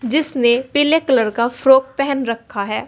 जिसने पीले कलर का फ्रॉक पहन रखा है।